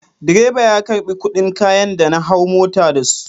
Direba ya karɓi kuɗin kayan da na hau mota da su.